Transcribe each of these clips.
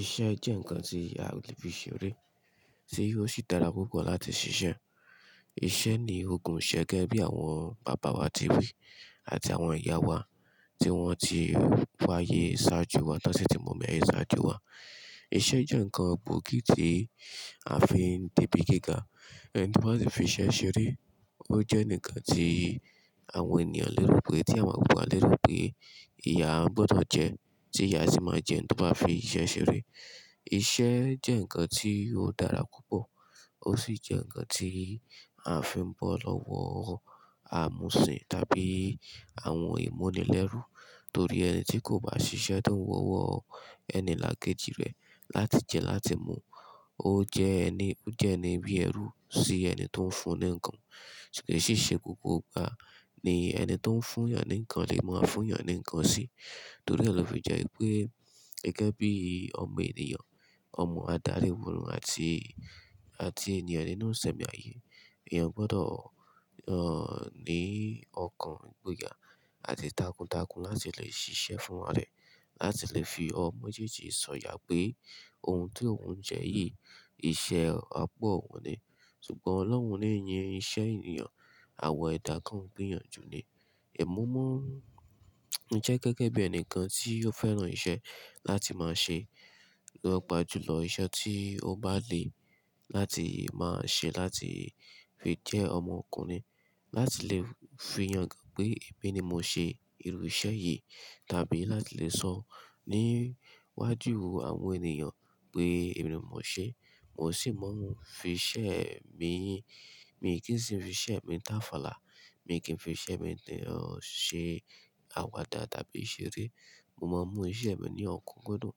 Iṣẹ́ jẹ́ ǹkan tí aolè fi ṣeré, ti ó sì dára púpọ̀ láti ṣiṣẹ́. Iṣẹ́ ni ó gun ṣẹ gẹ́gẹ́ bí àwọn bàbá wa ti wí àti àwọn ìyá wa tí wọ́n ti wáyé ṣáájú wa t'won si tí mo mọ̀ ẹ́ ṣáájú wa. Iṣẹ́ jẹ́ ǹkan gbòógì tí a fi ń débi gíga, ẹni tó bá si fi iṣẹ́ ṣeré ó jẹ́ enikan tí àwọn ènìyàn lè rò pé, tí àwọn kan wa lè rò pé, ìyá gbọ́dọ̀ jẹ́ tí ìyá sì máa jẹ ẹni tó bá fi iṣẹ́ ṣeré. Iṣẹ́ jẹ́ ǹkan tí ó dára púpọ̀ ó sì jẹ́ ǹkan tí a fi ń bọ́ lọ́wọ́ àmùsìn tàbí àwọn ìmúnilẹ́rú torí ẹni tí kò bá ṣiṣẹ́ to kan wó ọwọ́ ẹni là kejì rẹ̀ láti jẹ, láti mu. Ó jẹ ẹni, ó jẹ́ ẹni bí ẹrú sí ẹni tó ń fún ní ǹkan, ṣùgbọ́n kií ṣe gbogbo ìgbà ni ẹni tó ń fún ènìyàn ní ǹkan lè máa fún ènìyàn ní ǹkan sí torí ẹ lò fi jẹ́ pé gẹ́gẹ́ bí ọmọ ènìyàn, ọmọ adarí òrò àti ènìyàn nínú isẹ̀mí ayé, èèyàn gbọ́dọ̀, ní ọkàn ìgboyà àti tàkùnǹtàkùn láti lè ṣiṣẹ́ fún ra rẹ̀, láti lè fi ọwọ méjèèjì sọ̀yà pé ohun tí òun jẹ́ yìí iṣẹ́ apa òun ni. Ṣùgbọ́n Ọlọ́run ní yin iṣẹ́ ènìyàn, àwa ẹdá kan n gbéyànjú ni. Ẹ̀mo mo jẹ́ gẹ́gẹ́ bí ẹnìkan tí ó fẹ́ràn iṣẹ́ láti máa ṣe lọ́pàjùlọ iṣẹ́ tí ó bá le láti máa ṣe láti fi jẹ́ ọmọ ọkùnrin, láti lè fiyàn gán pé èmi ni mo ṣe irú iṣẹ́ yìí tàbí láti lè sọ níwájú àwọn ènìyàn pé èmi ni mo ṣe. Mi kì í sì fi iṣẹ́ mi táfàlà, mi kì í fi iṣẹ́ mi ṣe àwàdà tàbí ìṣeré. Mo máa ń mú iṣẹ́ mi ní ọ̀kúnkúndun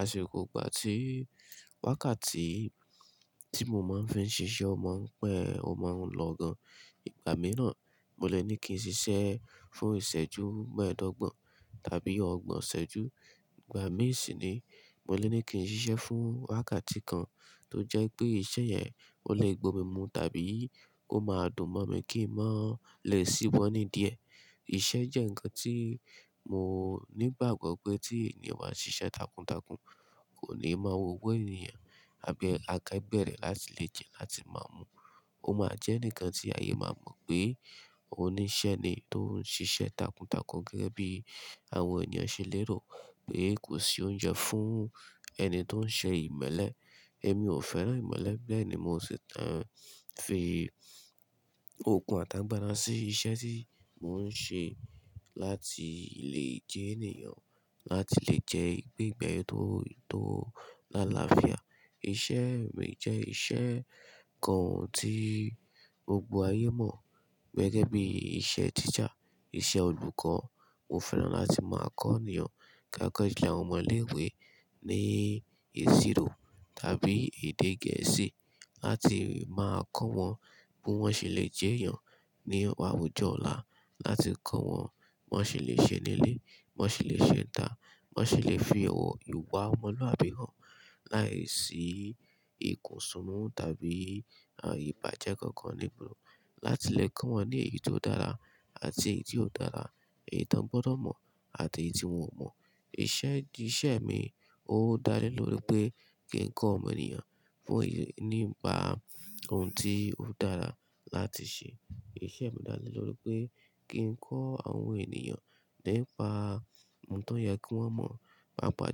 àṣìkò ìgbà tí wákàtí tí mo máa ń fẹ́ ṣiṣẹ́ o máa ń pẹ́, o máa ń lọ gan. Ìgbà mìíràn mo lè ní kí n ṣiṣẹ́ fún ìṣẹ́jú mẹ́ẹ̀ẹ́dọ́gbọ̀n tàbí ọgbọ̀n ìṣẹ́jú, ìgbà mìí sì ni mo lè ní kí n ṣiṣẹ́ fún wákàtí kan tó jẹ́ pé iṣẹ́ yẹn ò lè gbo mímú tàbí ó máa dùn mọ́ mi kí ń má lè ṣíwọ́ni idíẹ̀. Iṣẹ́ jẹ́ ǹkan tí mo nígbàgbọ́ pé tí ènìyàn bá ṣiṣẹ́ tàkùnǹtàkùn kò ní máa wò ọwọ́ ènìyàn àbí akẹgbẹ rẹ̀ láti lè jẹ, láti máa mu. Ó máa jẹ́ enikan tí ayé máa mọ̀ pé oníṣẹ́ ni tó ń ṣiṣẹ́ tàkùnǹtàkùn gẹ́gẹ́ bí àwọn ènìyàn ṣe lérò pé kò sí oúnjẹ fún ẹni tó ń ṣe ìmẹ́lẹ́. Ẹ̀mí ò fẹ́ràn ìmẹ́lẹ́ bẹ́ẹ̀ ni mo sì tàn, fi okun àtàgbà sí iṣẹ́ tí mò ń ṣe láti lè jẹ́ ènìyàn, láti lè gbè ìgbé ayé tó làlàáfíà. Iṣẹ́ mi jẹ́ iṣẹ́ kan tí gbogbo ayé mọ̀ gẹ́gẹ́ bí iṣẹ́ teacher, iṣẹ́ olùkọ́. Mo fẹ́ràn láti máa kọ́ ènìyàn, paapa julọ awọn ọmọ ilé ìwé ní ìṣirò tàbí èdè Gẹ̀ẹ́sì láti máa kọ́ wọn bí wọ́n ṣe lè jẹ́yàn ní àwùjọ ọ̀la, láti kọ́ wọn bí wọ́n ṣe lè ṣe nílé, bí wọ́n ṣe lè ṣe ita, bí wọ́n ṣe lè fi ìwà ọmọlúàbí hàn láìsí ìkùnsúnnú tàbí ìbàjẹ́ kankan láti lè kọ́ wọn ní èyí tó dára àti èyí tí ò dára, èyí tí wọ́n gbọ́dọ̀ mọ̀ àti èyí tí wọ́n ò mọ̀. Iṣẹ́ mi ó dá lé lórí pé kí n kọ́ ọmọ ènìyàn nípa ohun tí ó dára láti ṣe. Iṣẹ́ mi dá lé lórí pé kí n kọ́ àwọn ènìyàn nípa ohun tó yẹ kí wọ́n mọ̀, pàápàá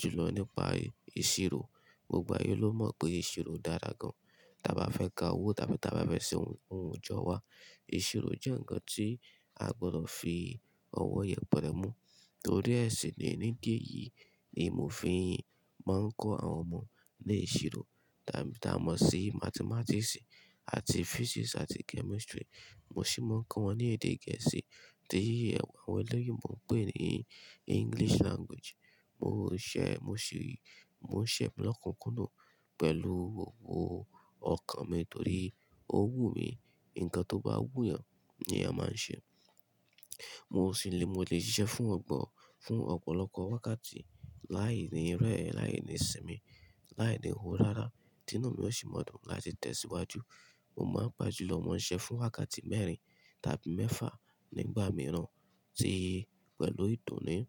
jùlọ nípa ìṣirò. Gbogbo ayé ló mọ̀ pé ìṣirò dára gan. Tàba fẹ́ ka owó tàbí ta bá fẹ́ ṣe ohunkohun ìjọ wa, ìṣirò jẹ́ ǹkan tí a gbọ́dọ̀ fi ọwọ́ yẹpẹrẹ mú torí ẹ ṣin nii ni ìdí èyí ni mo fii máa ń kọ́ àwọn ọmọ ní ìṣirò. Tàbí tí a mọ̀ sí Mathematics àti Physics àti Chemistry. Mo sì máa ń kọ́ wọn ní èdè Gẹ̀ẹ́sì tí àwọn oloyinbo n pé ní English Language. Mo ń ṣẹ́ iṣẹ mi lọ́kùnkùndun pẹ̀lú ọkàn mi torí ó wù mí. Ǹkan tó bá wù yàn ni èèyàn máa ń ṣe. Mo lè ṣiṣẹ́ fún ọ̀pọ̀lọpọ̀ wákàtí láìní rẹ́ẹ̀ẹ́, láìní sinmi, láìní ho rárá. Tínu mi ò sì máa dùn láti tẹ̀síwájú. Mo máa ń pàjù lọ mọ́ ṣẹ fún wákàtí mẹ́rin tàbí mẹ́fà nígbà mìíràn tí pẹ̀lú ìdunnú.